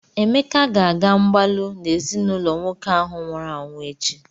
Emeka ga-aga mgbalụ na ezinụlọ nwoke ahụ nwụrụ anwụ echi.